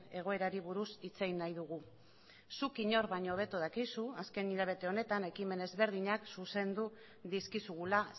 egoerari buruz hitz egin nahi dugu zuk inor baino hobeto dakizu azken hilabete honetan ekimen desberdinak zuzendu dizkizugula